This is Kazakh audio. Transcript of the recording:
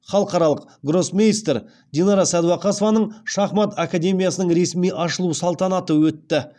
халықаралық гроссмейстер динара сәдуақасованың шахмат академиясының ресми ашылу салтанаты өтті